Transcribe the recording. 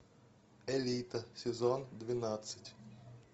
элита сезон двенадцать